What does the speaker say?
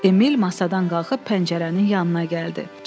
Emil masadan qalxıb pəncərənin yanına gəldi.